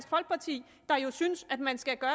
der er jo synes at man skal gøre